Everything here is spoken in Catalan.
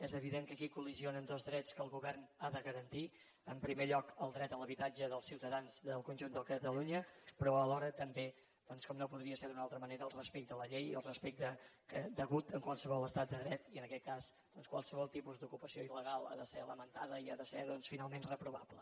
és evident que aquí col·lideixen dos drets que el govern ha de garantir en primer lloc el dret a l’habitatge dels ciutadans del conjunt de catalunya però alhora també doncs com no podria ser d’una altra manera el respecte a la llei i el respecte degut en qualsevol estat de dret i en aquest cas doncs qualsevol tipus d’ocupació il·legal ha de ser lamentada i ha de ser doncs finalment reprovable